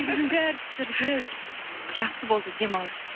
негізінде әртістерге жақсы болды демалыс